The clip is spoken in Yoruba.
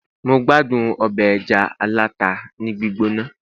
mo gbádùn obe eja alata ni gbigbona